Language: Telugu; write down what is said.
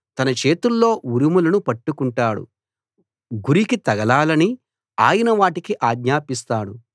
తన చేతుల్లో ఉరుములను పట్టుకుంటాడు గురికి తగలాలని ఆయన వాటికి ఆజ్ఞాపిస్తాడు